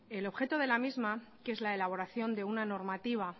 el objeto de la misma que es la elaboración de una normativa